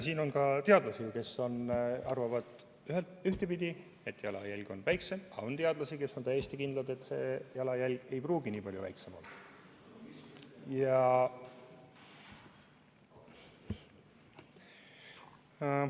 On teadlasi, kes arvavad ühtepidi, et jalajälg on väiksem, aga on ka teadlasi, kes on täiesti kindlad, et see jalajälg ei pruugi nii palju väiksem olla.